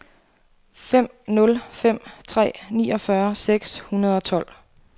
fem nul fem tre niogfyrre seks hundrede og tolv